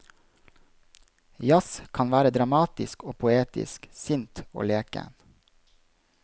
Jazz kan være dramatisk og poetisk, sint og leken.